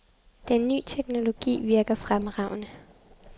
Den ny teknologi virker fremragende.